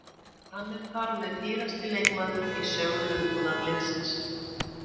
Hann er þar með dýrasti leikmaðurinn í sögu Lundúnarliðsins.